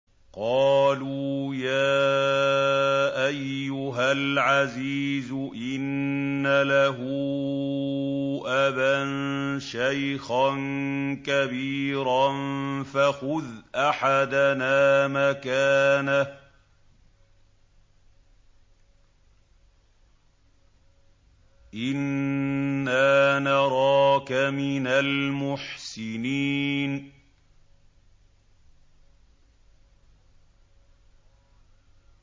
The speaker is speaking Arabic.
قَالُوا يَا أَيُّهَا الْعَزِيزُ إِنَّ لَهُ أَبًا شَيْخًا كَبِيرًا فَخُذْ أَحَدَنَا مَكَانَهُ ۖ إِنَّا نَرَاكَ مِنَ الْمُحْسِنِينَ